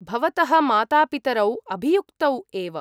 भवतः मातापितरौ अभियुक्तौ एव।